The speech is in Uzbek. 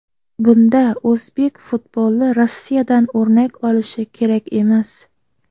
Bunda o‘zbek futboli Rossiyadan o‘rnak olishi kerak emas.